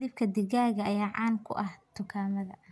Hilibka digaaga ayaa caan ku ah dukaamada.